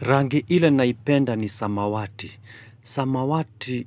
Rangi ile naipenda ni samawati. Samawati